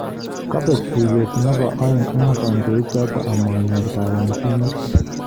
Kobeek tuiyet nebo aeng eng kandoik choto amanyor kayanchinet